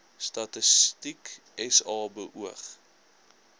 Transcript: statistiek sa beoog